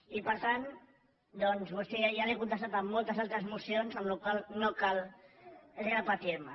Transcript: i per tant doncs ja l’he contestat en moltes altres mocions amb la qual cosa no cal repetir me